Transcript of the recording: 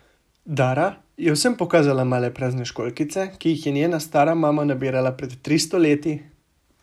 Dara je vsem pokazala male prazne školjkice, ki jih je njena stara mama nabirala pred tristo leti!